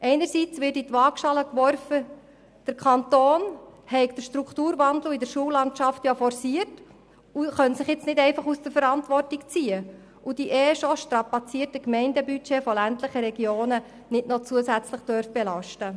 Einerseits wird in die Waagschale geworfen, der Kanton habe den Strukturwandel in der Schullandschaft forciert und könne sich jetzt nicht einfach aus der Verantwortung ziehen und die eh schon strapazierten Budgets ländlicher Gemeinden noch zusätzlich belasten.